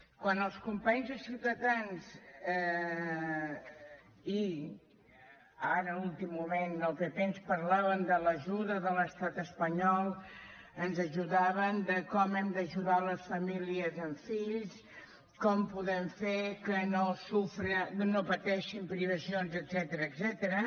quan els companys de ciutadans i ara a últim moment el pp ens parlaven de l’ajuda de l’estat espanyol ens parlaven de com hem d’ajudar les famílies amb fills com podem fer que no pateixin privacions etcètera